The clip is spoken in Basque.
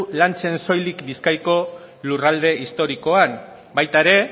lantzen soilik bizkaiko lurralde historikoan baita ere